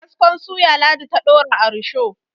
kaskon suya ladi ta Dora a rusho